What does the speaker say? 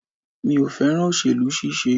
Mi ò fẹ́ràn òsèlú ṣíṣe.